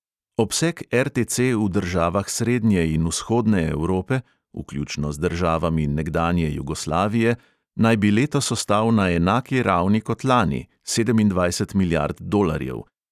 Obseg RTC v državah srednje in vzhodne evrope, vključno z državami nekdanje jugoslavije, naj bi letos ostal na enaki ravni kot lani (sedemindvajset milijard dolarjev).